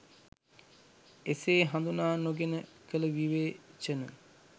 එසේ හඳුනා නොගෙන කල විවේචන